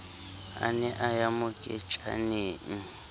a ne a ya moketjaneng